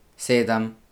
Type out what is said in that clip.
Sedem.